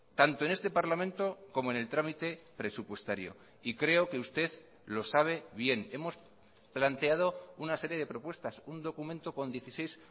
tanto en este parlamento como en el trámite presupuestario y creo que usted lo sabe bien hemos planteado una serie de propuestas un documento con dieciséis